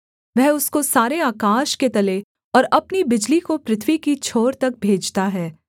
वह उसको सारे आकाश के तले और अपनी बिजली को पृथ्वी की छोर तक भेजता है